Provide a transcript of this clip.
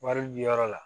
Wari bi yɔrɔ la